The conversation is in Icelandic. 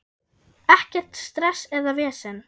Ekkert stress eða vesen.